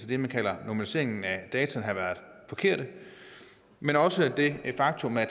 det man kalder normaliseringen af data men også det faktum at